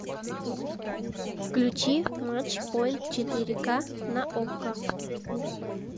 включи матч поинт четыре ка на окко